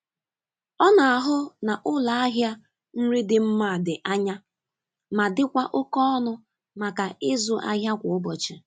Ọ na-ahụ na ụlọ ahịa nri dị mma dị anya ma dịkwa oke ọnụ maka ịzụ ahịa kwa ụbọchị.